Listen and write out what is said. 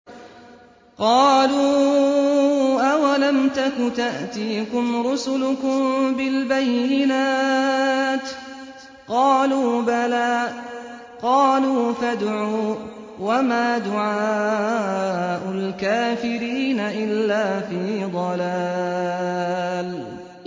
قَالُوا أَوَلَمْ تَكُ تَأْتِيكُمْ رُسُلُكُم بِالْبَيِّنَاتِ ۖ قَالُوا بَلَىٰ ۚ قَالُوا فَادْعُوا ۗ وَمَا دُعَاءُ الْكَافِرِينَ إِلَّا فِي ضَلَالٍ